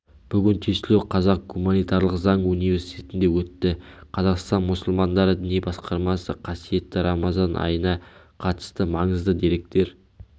бүгін тестілеу қазақ гуманитарлық заң университетінде өтті қазақстан мұсылмандары діни басқармасы қасиетті рамазан айына қатыстымаңызды деректер